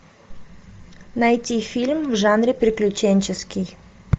найти фильм в жанре приключенческий